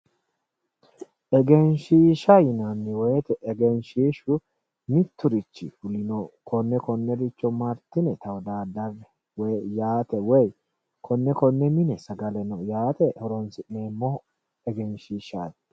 Egenshiishsha yinnanni woyte egenshishshu miturichi fulino konne konnericho martine tawodadare yaate woyi konne konninni agarino yaate horonsi'neemmo egenshishshati